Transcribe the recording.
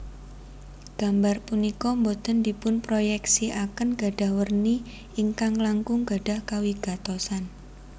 Gambar punika boten dipunproyeksiaken gadhah werni ingkang langkung gadhah kawigatosan